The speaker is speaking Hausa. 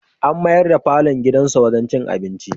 An mayar da falon gidansa wurin cin abinci.